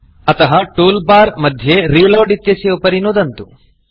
एवं कर्तुं तूल Barटूल् बार् उपरि Reloadरीलोड् इत्यस्य उपरि नुदन्तु